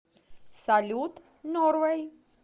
салют норвэй